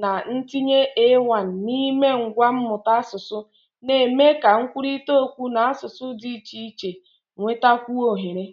na ntinye AI n'ime ngwa mmụta asụsụ, na-eme ka nkwurịta okwu n'asụsụ dị iche iche nwetakwuo ohere